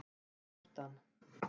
Hálfdan